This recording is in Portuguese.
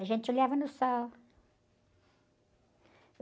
A gente olhava no sol.